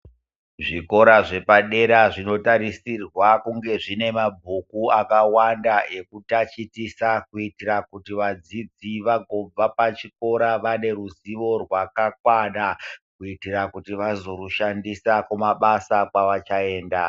Zvikora zvepadera zvinotarisirwa kunge zvive nemabhuku akawanda ekutatichisa kuti vadzidzi vazobva pachikora vane rizivo rwakakwana kuitira kuti vazoushandisa kumabasa kwava chaenda.